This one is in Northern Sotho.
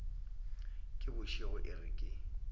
ke bošego e re ke